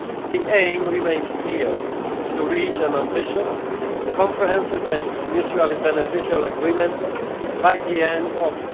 The aim remains clear to reach an ambitious, comprehensive and mutually beneficial agreement by the end